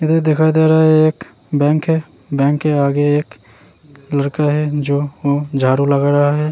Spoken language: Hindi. इधर दिखा दे रहा है एक बैंक है बैंक के आगे एक लड़का है जो झाडू लगा रहा है।